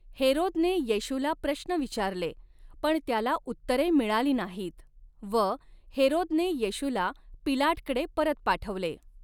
हेरोदने येशूला प्रश्न विचारले पण त्याला उत्तरे मिळाली नाहीत व हेरोदने येशूला पिलाटकडे परत पाठवले.